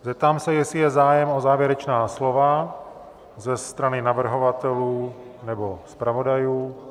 Zeptám se, jestli je zájem o závěrečná slova ze strany navrhovatelů nebo zpravodajů.